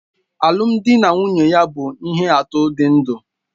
Alụmdi na nwunye ya bụ ihe atụ dị ndụ